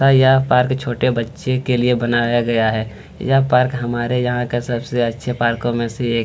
है यह पार्क छोटे बच्चों के लिए बनाया गया है यह पार्क हमारे यहाँ का सबसे अच्छे पार्को में से एक -